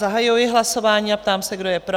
Zahajuji hlasování a ptám se, kdo je pro?